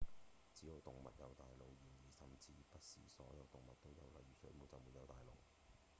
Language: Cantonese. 只有動物有大腦然而甚至不是所有動物都有；例如水母就沒有大腦